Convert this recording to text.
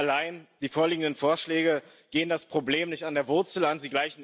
Allein, die vorliegenden Vorschläge gehen das Problem nicht an der Wurzel an